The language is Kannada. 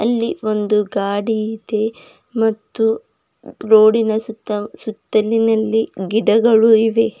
ಇಲ್ಲಿ ಒಂದು ಗಾಡಿ ಇದೆ ಮತ್ತು ರೋಡಿನ ಸುತ್ತ ಸುತ್ತಲಿನಲ್ಲಿ ಗಿಡಗಳು ಇವೆ.